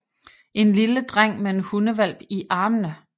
En lille dreng med en hundehvalp i armene